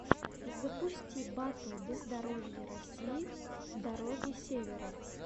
запусти батл бездорожья россии дороги севера